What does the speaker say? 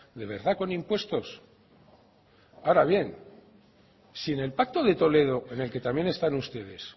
de verdad con impuestos ahora bien si en el pacto de toledo en el que también están ustedes